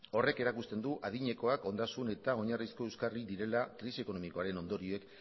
horrek erakusten du adinekoak ondasun eta oinarrizko euskarri direla krisi ekonomikoaren ondorioek